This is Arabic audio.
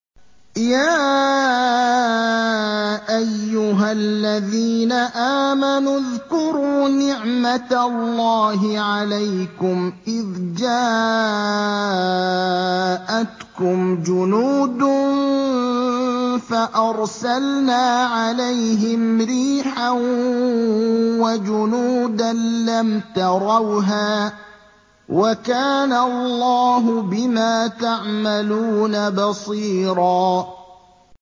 يَا أَيُّهَا الَّذِينَ آمَنُوا اذْكُرُوا نِعْمَةَ اللَّهِ عَلَيْكُمْ إِذْ جَاءَتْكُمْ جُنُودٌ فَأَرْسَلْنَا عَلَيْهِمْ رِيحًا وَجُنُودًا لَّمْ تَرَوْهَا ۚ وَكَانَ اللَّهُ بِمَا تَعْمَلُونَ بَصِيرًا